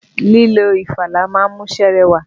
Lílo ìfalà ma ń múṣẹ́ rẹwà.